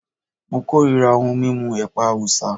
Mo korira ohun mímu ẹ̀pà Awúsá